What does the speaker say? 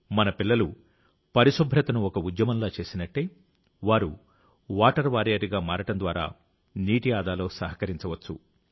మన పిల్లలు పరిశుభ్రతను ఒక ఉద్యమంలా చేసినట్టే వారు వాటర్ వారియర్గా మారడం ద్వారా నీటి ఆదాలో సహకరించవచ్చు